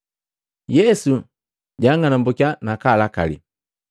Yesu jang'alumbukiya nakalakali.